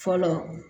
Fɔlɔ